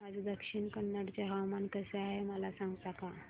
आज दक्षिण कन्नड चे हवामान कसे आहे मला सांगता का